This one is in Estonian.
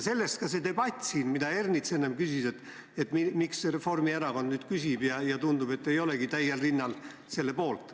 Sellest ka siinne debatt, mille kohta Ernits enne küsis, et miks Reformierakond nüüd küsib ja miks tundub, et nad ei olegi täiel rinnal selle poolt.